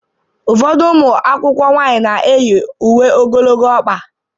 Ụfọdụ ụmụ akwụkwọ nwanyị na-eyi uwe ogologo ọkpa